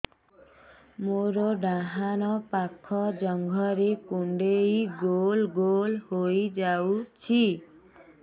ମୋର ଡାହାଣ ପାଖ ଜଙ୍ଘରେ କୁଣ୍ଡେଇ ଗୋଲ ଗୋଲ ହେଇଯାଉଛି